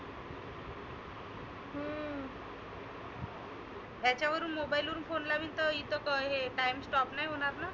ह्याच्यावरुण mobile वरुण phone लाविन तर इथं कायम stop नाही होणार ना?